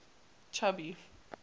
chubby